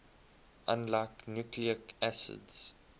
unlike nucleic acids